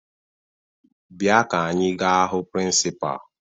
Bịa ka anyị gaa hụ prịnsịpaa!